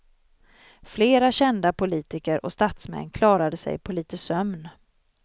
Flera kända politiker och statsmän klarade sig på lite sömn.